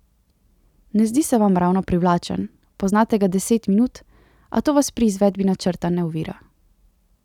Ne zdi se vam ravno privlačen, poznate ga deset minut, a to vas pri izvedbi načrta ne ovira.